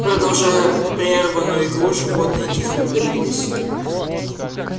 продолжая прерванную игру животные тихо удалились